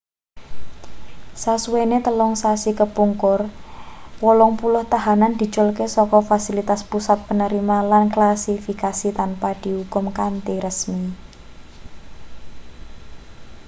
sasuwene 3 sasi kepungkur 80 tahanan diculke saka fasilitas pusat panerima lan klasifikasi tanpa diukum kanthi resmi